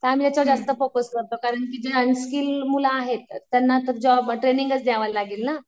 त्या आम्ही त्याच्यावर जास्त फोकस करतो. कारण की जे अन्स्कील्ड मुलं आहेत, त्यांना तर जॉब ट्रेनिंगचं द्यावं लागेल ना.